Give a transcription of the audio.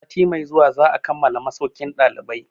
Sati mai zuwa za a kammala masaukin ɗalibai.